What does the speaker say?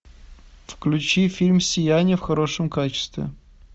включи фильм сияние в хорошем качестве